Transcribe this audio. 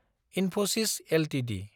Infosys Ltd